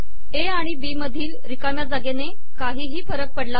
ए आिण बी मधील िरकामया जागेने काही फरक पडला नाही